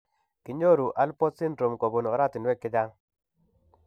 Kinyoru alport syndrome kobun oratinwek chechang